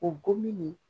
O gomin